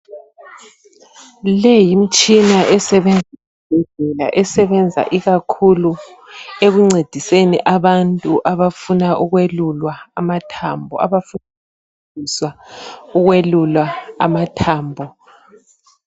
Le yimitshina esebenza ezibhedlela esebenza ikakhulu ekuncediseni abantu abafuna ukwelulwa amathambo.